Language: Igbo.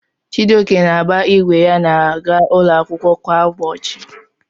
Chijioke na-agba igwe ya aga ụlọ akwụkwọ kwa ụbọchị.